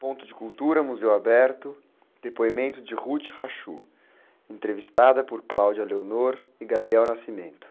depoimento de, entrevistada por e.